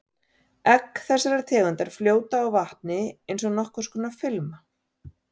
Egg þessarar tegundar fljóta á vatni eins og nokkurs konar filma.